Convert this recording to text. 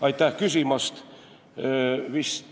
Aitäh küsimast!